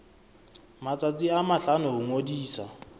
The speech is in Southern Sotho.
matsatsi a mahlano ho ngodisa